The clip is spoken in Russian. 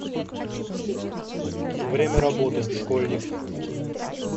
время работы школьник